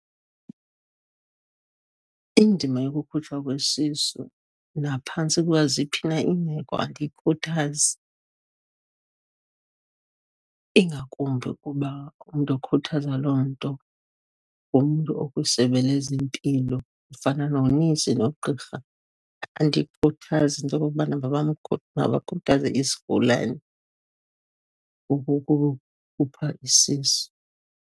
Indima yokukhutshwa kwesisu, naphantsi kwaziphi na iimeko, andiyikhuthazi. Ingakumbi ukuba umntu okhuthaza loo nto ungumntu okwisebe lezempilo, ofana nonesi nogqirha. Andiyikhuthazi into okokubana mabakhuthaze isigulana ukukukhupha isisu.